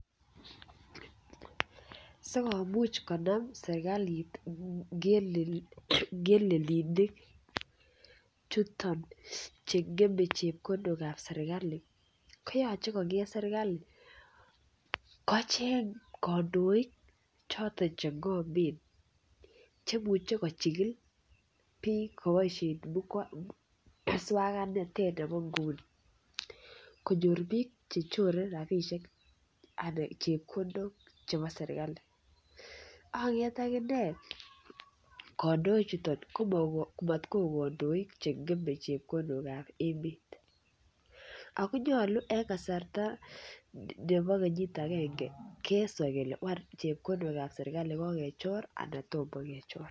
Asi komuch konam serkalit ngelelinik chuton Che ngeme chepkondok ab serkali koyoche konget serkali kocheng kandoik choton Che ngomen Che muche kochikil bik koboisien moswoknatet nebo nguni konyor bik Che chore rabisiek anan chepkondok chebo serkali ak konget aginee kandoik chuton ko mat koik kandoik Che ngeme chepkondok ab emet ako nyolu en kasarta nebo kenyit agenge keswa kele ngwany chepkondok ab serkali ko ko kechor anan tomo kechor